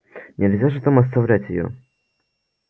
нельзя же там оставлять её